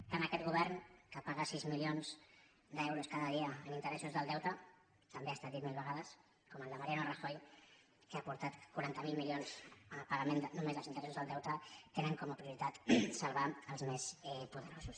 tant aquest govern que paga sis milions d’euros cada dia en interessos del deute també ha estat dit mil vegades com el de mariano rajoy que ha aportat quaranta miler milions al pagament només dels interessos del deute tenen com a prioritat salvar els més poderosos